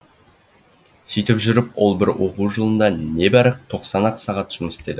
сөйтіп жүріп ол бір оқу жылында небәрі тоқсан ақ сағат жұмыс істеді